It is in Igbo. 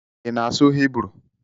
Ị na-asụ Hibru?